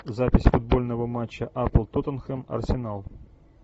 запись футбольного матча апл тоттенхэм арсенал